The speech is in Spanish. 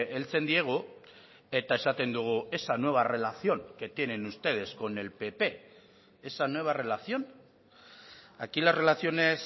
heltzen diegu eta esaten dugu esa nueva relación que tienen ustedes con el pp esa nueva relación aquí las relaciones